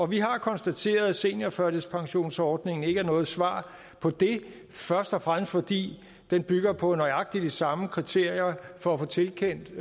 vi har konstateret at seniorførtidspensionsordningen ikke er noget svar på det først og fremmest fordi den bygger på nøjagtig de samme kriterier for at få tilkendt